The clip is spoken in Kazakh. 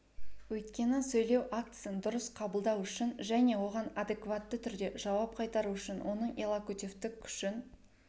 өйткені сөйлеу актісін дұрыс қабылдау үшін және оған адекватты түрде жауап қайтару үшін оның иллокутивтік күшін